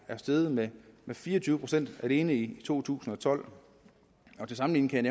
steget med fire og tyve procent alene i to tusind og tolv til sammenligning kan